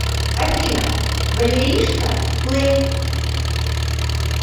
афина валеришка плэй